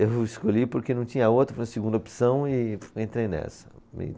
Eu escolhi porque não tinha outra, foi a segunda opção e entrei nessa.